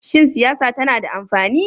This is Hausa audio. Shin siyasa tana da amfani?